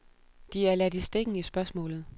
De er ladt i stikken i spørgsmålet.